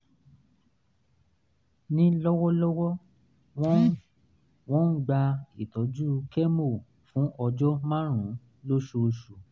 ní lọ́wọ́lọ́wọ́ wọ́n wọ́n ń gba ìtọ́jú kẹ́mò fún ọjọ́ márùn-ún lóṣooṣù